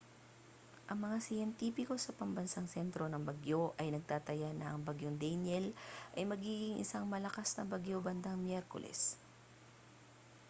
ang mga siyentipiko sa pambansang sentro ng bagyo ay nagtataya na ang bagyong danielle ay magiging isang malakas na bagyo bandang miyerkules